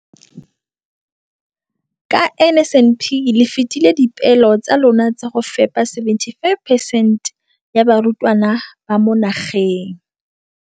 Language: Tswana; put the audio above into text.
Ka NSNP le fetile dipeelo tsa lona tsa go fepa masome a supa le botlhano a diperesente ya barutwana ba mo nageng.